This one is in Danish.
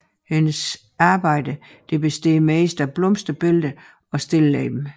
Hendes arbejder består mest af blomsterbilleder og stilleben